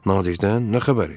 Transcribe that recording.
Nadirdən nə xəbərdir?